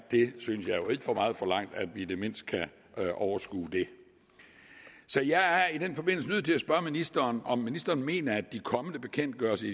for meget forlangt at vi i det mindste kan overskue det så jeg er i den forbindelse nødt til at spørge ministeren om ministeren mener at de kommende bekendtgørelser